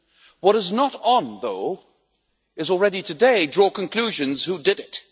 What is not on though is already today to draw conclusions about who did it.